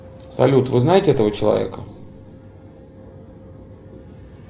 салют вы знаете этого человека